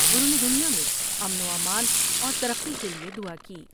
انہوں نے دنیا میں امن و امان اور ترقی کیلئے دعا کی ۔